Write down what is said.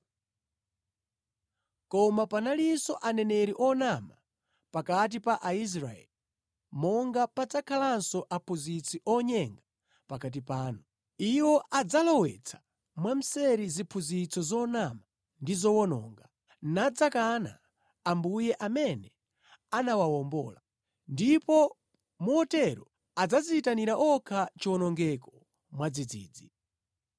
Koma panalinso aneneri onama pakati pa Aisraeli, monga padzakhalanso aphunzitsi onyenga pakati panu. Iwo adzalowetsa mwamseri ziphunzitso zonama ndi zowononga, nadzakana Ambuye amene anawawombola, ndipo motero adzadziyitanira okha chiwonongeko mwadzidzidzi.